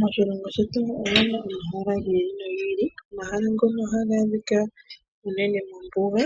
Moshilongo shetu omuna omahala gi ili nogi ili. Omahala ngono ohaga adhika uunene mombuga,